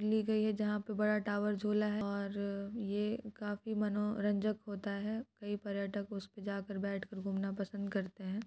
ली गई है यह फोटो जहां पर बड़ा टावर झूला है और यह काफी मनोरंजक होता है कई पर्यटक इस पर झूलने पसंद करते हैं ।